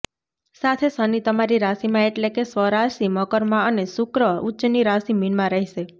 સાથે શનિ તમારી રાશિમાં એટલે કે સ્વરાશિ મકરમાં અને શુક્ર ઉચ્ચની રાશિ મીનમાં રહેશે